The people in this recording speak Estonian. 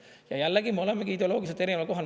Ja jällegi, me olemegi ideoloogiliselt erineval kohal.